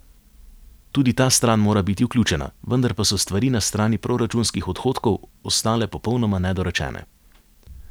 Tudi ta stran mora biti vključena, vendar pa so stvari na strani proračunskih odhodkov ostale popolnoma nedorečene.